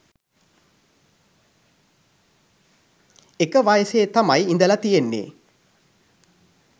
එක වයසේ තමයි ඉඳලා තියෙන්නේ.